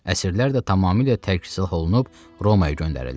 Əsrlər də tamamilə tərk silah olunub Romaya göndərildi.